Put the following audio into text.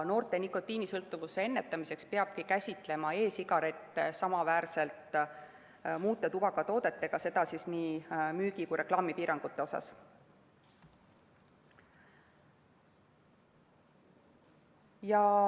Noorte nikotiinisõltuvuse ennetamiseks peabki käsitlema e‑sigarette samaväärselt muude tubakatoodetega, seda nii müügi kui ka reklaamipiirangute mõttes.